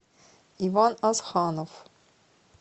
иван асханов